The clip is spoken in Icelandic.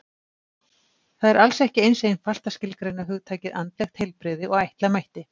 Það er alls ekki eins einfalt að skilgreina hugtakið andlegt heilbrigði og ætla mætti.